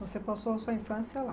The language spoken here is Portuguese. Você passou a sua infância lá.